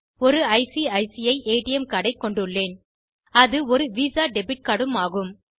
ஒரு ICICI ATM card ஐ கொண்டுள்ளேன் அது ஒரு விசா டெபிட் கார்ட் ம் ஆகும்